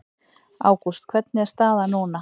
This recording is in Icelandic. Ágúst hvernig er staðan núna?